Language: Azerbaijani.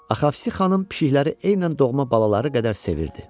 Axavsi xanım pişikləri eynən doğma balaları qədər sevirdi.